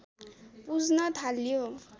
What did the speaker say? पूज्न थाल्यौ